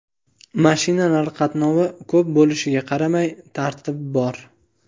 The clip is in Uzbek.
Mashinalar qatnovi ko‘p bo‘lishiga qaramay, tartib bor.